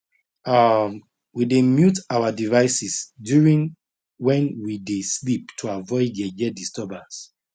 um we dey mute our devices during when we dey sleep to avoid yeye disturbance